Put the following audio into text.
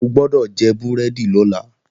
O gbọ́dọ̀ jẹ búrẹ́dì lọ́la!